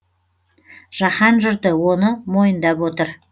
жаһан жұрты оны мойындап отыр